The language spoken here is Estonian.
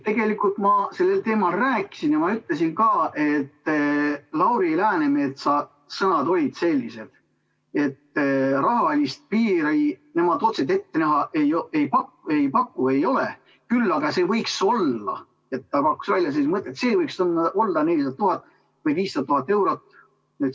Tegelikult ma sellel teemal rääkisin ja ütlesin ka, et Lauri Läänemetsa sõnad olid sellised, et rahalist piiri nemad otseselt ette ei näe, küll aga ta pakkus välja sellise mõtte, et see võiks olla 400 000 või 500 000 eurot.